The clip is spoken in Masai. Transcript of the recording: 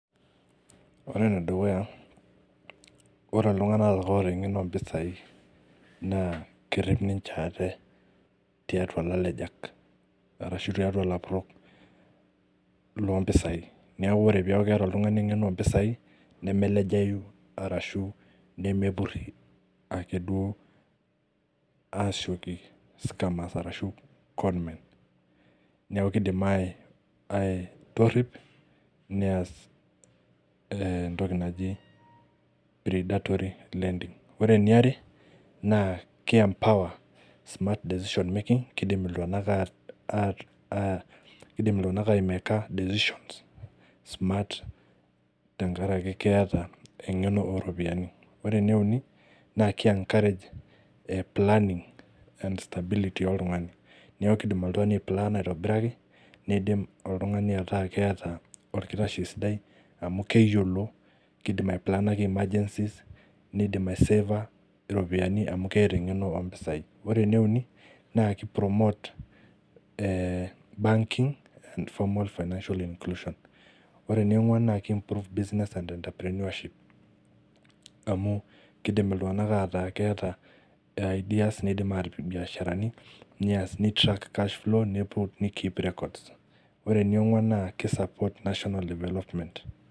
Ore nedukuya naa ore ltung'ana ootaa ng'eno o mpesai naa kerep ninje ate teatua lalejak arashu taatua lapurok lompesai naaku ore paaku keeta ltung'ane ng'eno ompesai nemelejai arashu nemepuri akeduo asieki scameres arashu conmen's naaku keidimi atorip neas ntoki naji (cs redatory lending cs) kore naare naa ke(cs enpower smart desicion making cs) naa keidim ltung'ana aimeka (cs desicion smart cs) tangarake keata eng'eno eropiyiani, ore neunik naa ke(cs encourage planning and stability cs)oltung'ane naaku kedim aiplana aitobiraki ,nedim ltung'ane aaku keataa elkirash sidai amu keyiolo keidim aiplana (cs emergency cs)nindim aiseva ropiyian amu keata ng'eno ompesai ore neuni kei(cs promote banking and formal financial enculution cs) ore neongwan naa kei(improve business and enterprenuaship cs) amu kedim ltung'ana ataa keata(cs ideas cs) nedim atipik mbeasharani neas neittrac(cs cash flow cs)nepuo nekeep (cs records cs)ore neongwan naa ke(cs support national development cs )